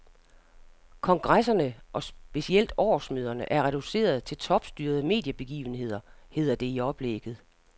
Kongresserne og specielt årsmøderne er reduceret til topstyrede mediebegivenheder, hedder det i oplægget.